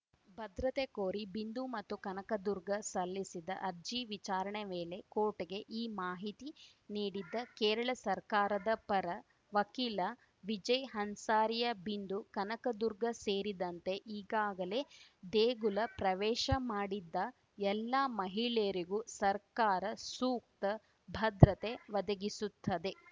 ಭದ್ರತೆ ಕೋರಿ ಬಿಂದು ಮತ್ತು ಕನಕದುರ್ಗ ಸಲ್ಲಿಸಿದ್ದ ಅರ್ಜಿ ವಿಚಾರಣೆ ವೇಳೆ ಕೋರ್ಟ್‌ಗೆ ಈ ಮಾಹಿತಿ ನೀಡಿದ್ದ ಕೇರಳ ಸರ್ಕಾರದ ಪರ ವಕೀಲ ವಿಜಯ್‌ ಹನ್ಸಾರಿಯಾ ಬಿಂದು ಕನಕದುರ್ಗ ಸೇರಿದಂತೆ ಈಗಾಗಲೇ ದೇಗುಲ ಪ್ರವೇಶ ಮಾಡಿದ್ದ ಎಲ್ಲಾ ಮಹಿಳೆಯರಿಗೂ ಸರ್ಕಾರ ಸೂಕ್ತ ಭದ್ರತೆ ಒದಗಿಸುತ್ತಿದೆ